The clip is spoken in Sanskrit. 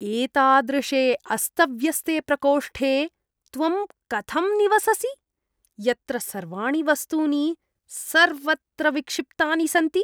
एतादृशे अस्तव्यस्ते प्रकोष्ठे त्वं कथं निवससि, यत्र सर्वाणि वस्तूनि सर्वत्र विक्षिप्तानि सन्ति?